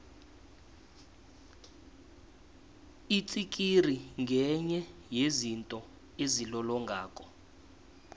itsikiri ngenye yezinto ezilolongako